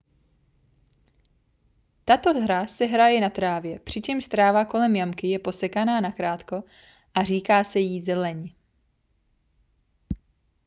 tato hra se hraje na trávě přičemž tráva kolem jamky je posekaná na krátko a říká se jí zeleň